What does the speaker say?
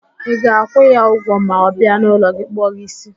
Ị ga-akwụ ya ụgwọ ma ọ bịa n'ụlọ gị kpụọ gị ísí